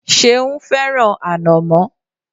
Ṣeun fẹ́ràn ànọ̀mó.